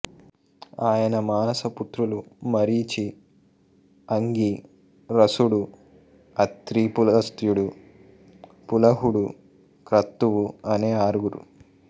ఆయన మానస పుత్రులు మరీచి అంగీ రసుడు అత్రి పులస్త్యుడు పులహుడు క్రతువు అనే ఆరుగురు